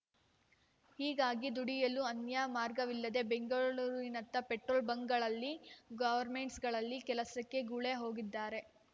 ಹೀಗಾಗಿ ದುಡಿಯಲು ಅನ್ಯ ಮಾರ್ಗವಿಲ್ಲದೆ ಬೆಂಗಳೂರಿನತ್ತ ಪೆಟ್ರೋಲ್‌ ಬಂಕ್‌ಗಳಲ್ಲಿ ಗೊವರ್ಮೆಂಟ್ಸ್ಗಳಲ್ಲಿ ಕೆಲಸಕ್ಕೆ ಗುಳೆ ಹೋಗಿದ್ದಾರೆ